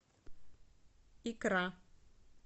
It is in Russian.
икра